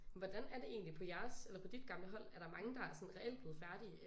Hvordan er det egentlig på jeres eller på dit gamle hold er der mange der er sådan reelt blevet færdige